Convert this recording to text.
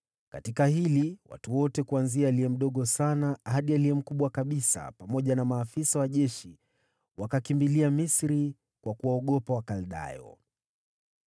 Baada ya haya, watu wote kuanzia aliye mdogo sana hadi aliye mkubwa kabisa, pamoja na maafisa wa jeshi, wakakimbilia Misri kwa kuwaogopa Wakaldayo.